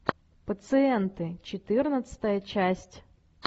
пациенты четырнадцатая часть